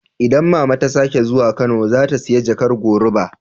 Idan mama ta sake zuwa Kano, za ta siya jakar goruba.